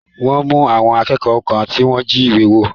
Wọ́n mú àwọn akékọ̀ọ́ kan tí wọ́n jí ìwé wò.